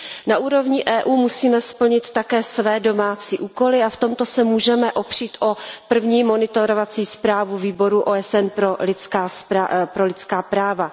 Na úrovni EU musíme splnit také své domácí úkoly a v tomto se můžeme opřít o první monitorovací zprávu výboru OSN pro lidská práva.